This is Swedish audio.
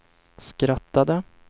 skrattade